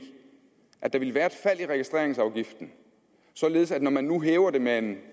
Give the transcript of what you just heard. at der ville være et fald i registreringsafgiften således at når man nu hæver den med en